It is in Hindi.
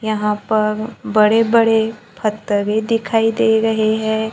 यहां पर बड़े बड़े पत्थर दिखाई दे रहे हैं।